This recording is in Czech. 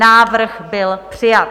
Návrh byl přijat.